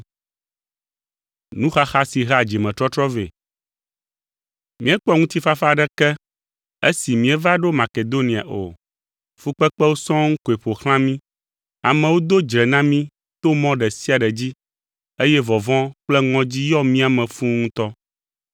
Míekpɔ ŋutifafa aɖeke esi míeva ɖo Makedonia o, fukpekpewo sɔŋ koe ƒo xlã mí. Amewo do dzre na mí to mɔ ɖe sia ɖe dzi, eye vɔvɔ̃ kple ŋɔdzi yɔ mía me fũu ŋutɔ.